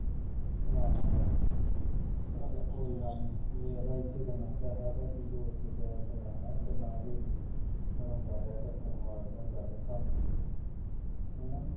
ਆਹੋ ਆਹੋ ਚਲ ਕੋਈ ਗਲ ਨੂੰ ਵੇਖ ਲੈ ਕਿੰਨਾ ਪੈਸਾ ਤਿੰਨ ਤਿੰਨ ਹੈਨਾ